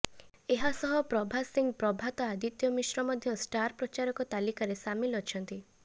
ଏହାସହ ପ୍ରଭାସ ସିଂ ପ୍ରଭାତ ଆଦିତ୍ୟ ମିଶ୍ର ମଧ୍ୟ ଷ୍ଟାର ପ୍ରଚାରକ ତାଲିକାରେ ସାମିଲ ଅଛନ୍ତି